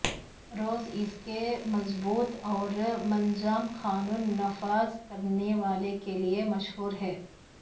روس اس کے مضبوط اور منظم قانون نافذ کرنے والے کے لئے مشہور ہے